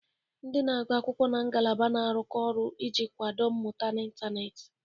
Ndị na-agụ akwụkwọ na ngalaba na-arụkọ ọrụ iji kwado mmụta n'ịntanetị.